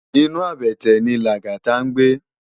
Inú àbètè yèn ni Lagata ngbé